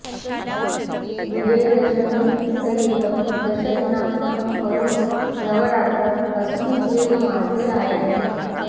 विजयदशमीसहितं दशदिनात्मकं पर्व नवरात्रम् अस्मिन् एव मासे आयाति